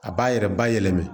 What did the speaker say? A b'a yɛrɛ bayɛlɛma